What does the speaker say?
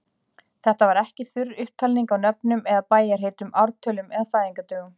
Þetta var ekki þurr upptalning á nöfnum eða bæjarheitum, ártölum eða fæðingardögum.